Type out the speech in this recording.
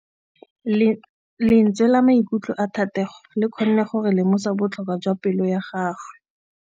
Lentswe la maikutlo a Thategô le kgonne gore re lemosa botlhoko jwa pelô ya gagwe.